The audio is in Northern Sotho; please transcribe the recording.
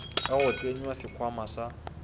ka go tsenya sekhwama sa